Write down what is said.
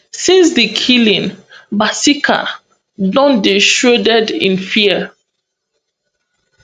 since di killings kasika don dey shrouded in fear